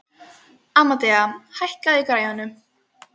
Amadea, hækkaðu í græjunum.